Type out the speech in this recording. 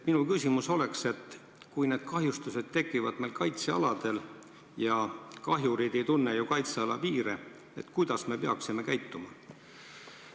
Minu küsimus on järgmine: kui need kahjustused tekivad meil kaitsealadel – kahjurid ei tunne ju kaitseala piire –, siis kuidas me peaksime käituma?